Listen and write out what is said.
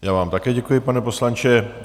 Já vám také děkuji, pane poslanče.